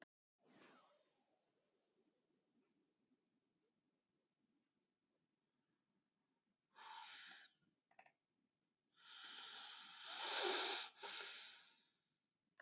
Ellefu málaflokkar teljast til þeirrar ættar.